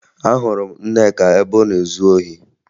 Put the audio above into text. Ahụrụ m Nneka ebe ọ na-ezu ohi